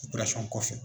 kɔfɛ